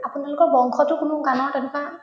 আপোনালোকৰ বংশতোৰ কোনো গানৰ তেনেকুৱা